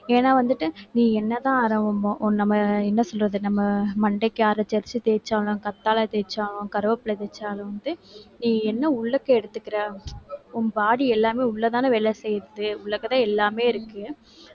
ஏன்னா வந்துட்டு நீ என்னதான் அர~ என்ன சொல்றது நம்ம மண்டைக்கு அரைச்சு அரைச்சு தேய்ச்சாலும் கத்தாழை தேய்ச்சா கருவேப்பிலை தேய்ச்சாலும் வந்து நீ என்ன உள்ளுக்க எடுத்துக்குற உன் body எல்லாமே உள்ளதானே வேலை செய்யுது உள்ளுக்கதான் எல்லாமே இருக்கு